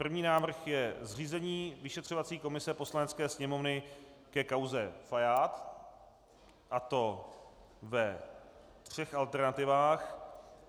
První návrh je Zřízení vyšetřovací komise Poslanecké sněmovny ke kauze Fajád, a to ve třech alternativách.